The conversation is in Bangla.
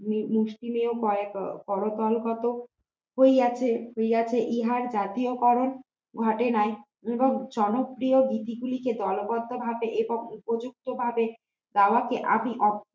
হইয়াছে হইয়াছে ইহার জাতীয় কারণ ইহাতে নাই জনপ্রিয় ভীতি গুলোকে দলবদ্ধভাবে এবং উপযুক্তভাবে গাওয়া কে আমি